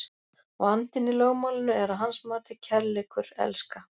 Og andinn í lögmálinu er að hans mati kærleikur, elska.